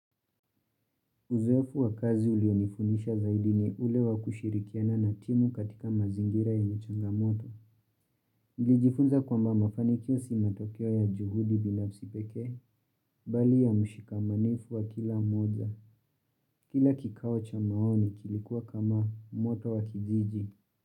Uzeofu wa kazi ulionifundisha zaidi ni ule wa kushirikiana na timu katika mazingira yenye changamoto. Nilijifunza kwamba mafanikio si matokeo ya juhudi binafsi pekee, bali ya mshikamanifu wa kila mmoja. Kila kikao cha maoni kilikuwa kama moto wa kijiji.